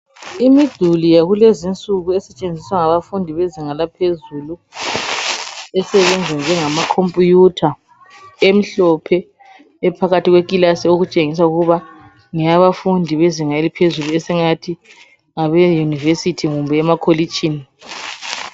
Imiduli yakulezi insuku esetshenziswa ngabafundi bezinga laphezulu esebenza njengamakhombutha emhlophe ephakathi kwekilasi etshengisa ukuba ngeyabafundi bezinga eliphezulu esingathi ngabeYunivesithi kumbe emakolitshini.